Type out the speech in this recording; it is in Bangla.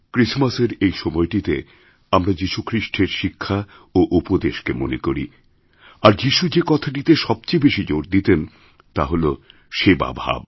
ক্রিসমাসের এই সময়টিতে আমরা যীশুখ্রিস্টের শিক্ষা ও উপদেশকে মনে করি আর যীশুযে কথাটিতে সবচেয়ে বেশি জোর দিতেন তা হল সেবা ভাব